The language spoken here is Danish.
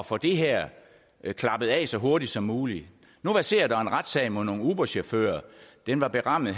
få det her klappet af så hurtigt som muligt nu verserer der en retssag mod nogle uberchauffører den var berammet